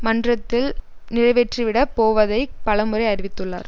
மன்றத்தில் நிறைவேற்றிவிடப் போவதை பலமுறை அறிவித்துள்ளார்